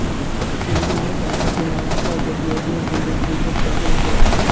शिवणी हे भारतातील महाराष्ट्र राज्यातील यवतमाळ जिल्ह्यातील दिग्रस तालुक्यातील एक गाव आहे